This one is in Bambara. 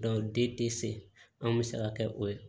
den tɛ se anw bɛ se ka kɛ o ye